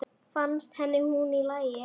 Fannst henni hún í lagi?